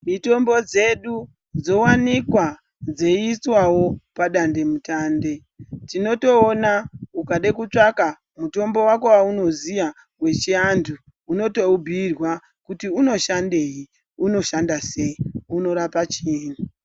Mitombo dzedu dzowanikwa dzeiiswawo padande mutande. Tinotoona ukada kutsvaka mutombo wako weunoziya yechiantu unotoubhuyirwa kuti unoshandei, unoshanda sei, unorapa chiini.